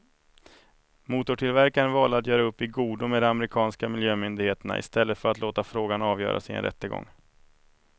Motortillverkarna valde att göra upp i godo med de amerikanska miljömyndigheterna i stället för att låta frågan avgöras i en rättegång.